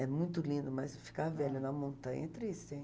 É muito lindo, mas ficar velha na montanha é triste, hein.